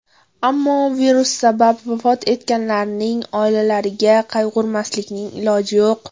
Ammo virus sabab vafot etganlarning oilalariga qayg‘urmaslikning iloji yo‘q.